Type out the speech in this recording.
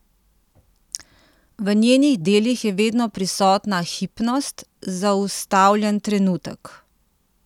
V njenih delih je vedno prisotna hipnost, zaustavljen trenutek.